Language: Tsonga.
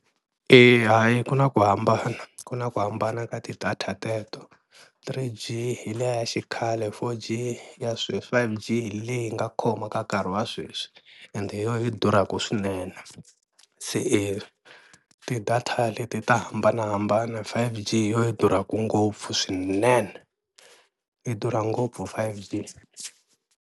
Ina ku na ku hambana ku na ku hambana ka ti-data teto, three G hi liya xikhale, four G ya sweswi, five G hi leyi nga khoma ka nkarhi wa sweswi ende hi yoho yi durhaka swinene, se eya ti-data leti ta hambanahambana five G hi yoho yi durhaka ngopfu swinene, yi durha ngopfu five G.